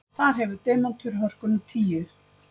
Þar hefur demantur hörkuna tíu.